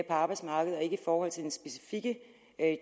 arbejdsmarkedet og ikke i forhold til den specifikke